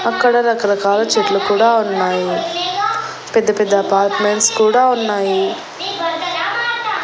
అక్కడ రకరకాల చెట్లు కూడా ఉన్నాయి పెద్ద-పెద్ద అపార్ట్మెంట్స్ కూడా ఉన్నాయి.